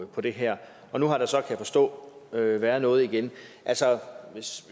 på det her og nu har der så kan jeg forstå været noget igen hvis